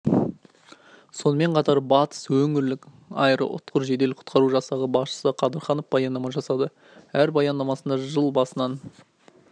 сонымен қатар батыс өңірлік аэроұтқыр жедел құтқару жасағы басшысы қадырханов баяндама жасады өз баяндамасында жыл басынан